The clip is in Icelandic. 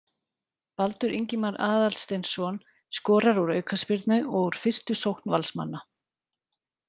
Baldur Ingimar Aðalsteinsson skorar úr aukaspyrnu og úr fyrstu sókn Valsmanna.